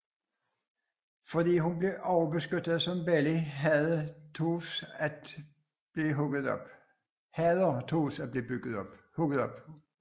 Fordi hun blev overbeskyttet som barn hader Toph at blive hygget om